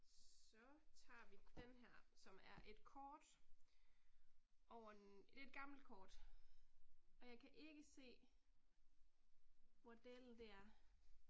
Så tager vi den her, som er et kort over, det er et gammelt kort. Og jeg kan ikke se, hvor dælen det er